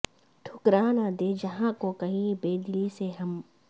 ٹھکرا نہ دیں جہاں کو کہیں بے دلی سے ہم